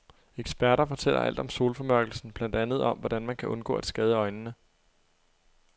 Eksperter fortæller alt om solformørkelsen, blandt andet om, hvordan man kan undgå at skade øjnene.